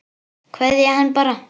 Kveðja hann bara.